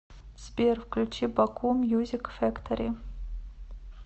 сбер включи баку мьюзик фэктори